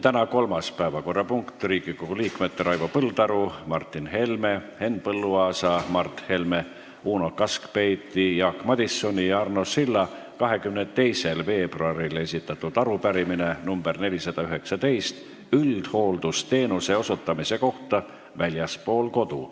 Tänane kolmas päevakorrapunkt on Riigikogu liikmete Raivo Põldaru, Martin Helme, Henn Põlluaasa, Mart Helme, Uno Kaskpeiti, Jaak Madisoni ja Arno Silla 22. veebruaril esitatud arupärimine üldhooldusteenuse osutamise kohta väljaspool kodu.